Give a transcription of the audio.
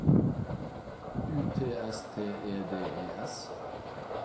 U T S T E D E S